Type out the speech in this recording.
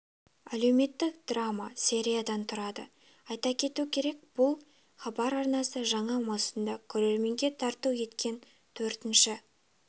әлеуметтік драма сериядан тұрады айта кету керек бұл хабар арнасы жаңа маусымда көрерменге тарту еткен төртінші